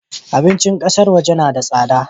Abincin kasar waje na da tsada